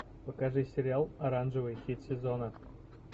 покажи сериал оранжевый хит сезона